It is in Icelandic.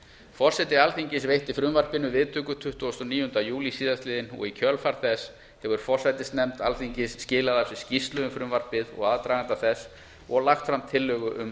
forseti alþingis veitti frumvarpinu viðtöku tuttugasta og níunda júlí síðastliðinn og í kjölfar þess hefur forsætisnefnd alþingis skilað af sér skýrslu um frumvarpið og aðdraganda þess og lagt fram tillögu um